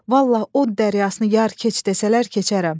Vallah o dəryasını yar keç desələr, keçərəm.